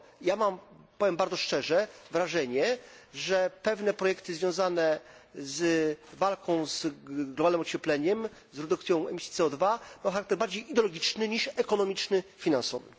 Ja mam powiem bardzo szczerze wrażenie, że pewne projekty związane z walką z globalnym ociepleniem, z redukcją emisji CO 2 mają charakter bardziej ideologiczny niż ekonomiczny, finansowy.